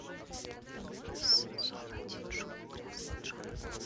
сезон один шоу грязный джон